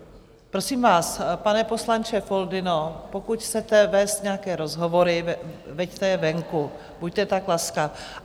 Prosím vás, pane poslanče Foldyno, pokud chcete vést nějaké rozhovory, veďte je venku, buďte tak laskav.